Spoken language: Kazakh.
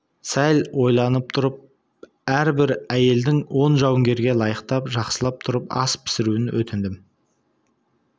сәл ойланып тұрып әрбір әйелдің он жауынгерге лайықтап жақсылап тұрып ас пісіруін өтіндім